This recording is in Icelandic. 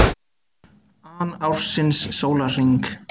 an ársins sólarhring.